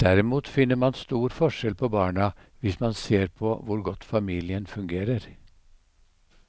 Derimot finner man stor forskjell på barna hvis man ser på hvor godt familien fungerer.